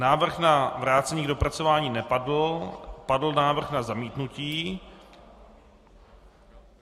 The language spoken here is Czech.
Návrh na vrácení k dopracování nepadl, padl návrh na zamítnutí.